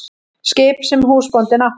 Skip sem húsbóndinn átti?